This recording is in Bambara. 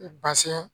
Basɛn